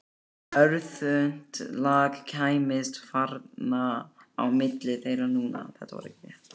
Örþunnt lak kæmist varla á milli þeirra núna.